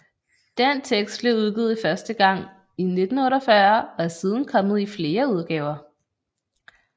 Den tekst blev udgivet første gang i 1948 og er siden kommet i flere udgaver